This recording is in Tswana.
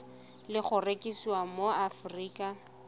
le go rekisiwa mo aforika